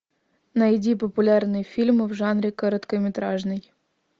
найди популярные фильмы в жанре короткометражный